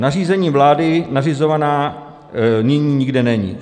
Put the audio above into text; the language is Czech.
Nařízením vlády nařizovaná nyní nikde není.